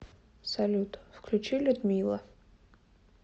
салют включи людмила